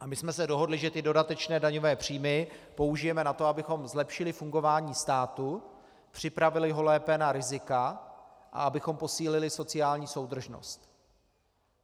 A my jsme se dohodli, že ty dodatečné daňové příjmy použijeme na to, abychom zlepšili fungování státu, připravili ho lépe na rizika a abychom posílili sociální soudržnost.